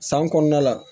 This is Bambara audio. San kɔnɔna la